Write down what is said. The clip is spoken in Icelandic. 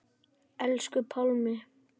Elsku Pálmi.